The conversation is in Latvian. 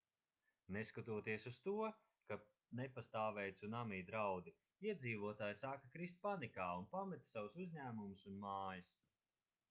neskatoties uz to ka nepastāvēja cunami draudi iedzīvotāji sāka krist panikā un pameta savus uzņēmumus un mājas